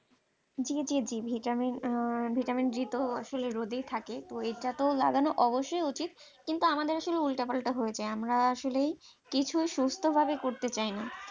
জি জি জি VitaminVitamin d আসলে রোদেই থাকে তো এটা তো লাগানো অবশ্যই উচিত কিন্তু আমাদের আসলে উল্টাপাল্টা হয়ে যায় আমরা আসলে কিছুই সুস্থভাবে করতে চাই না।